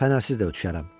Fənərsiz də gedə bilərəm,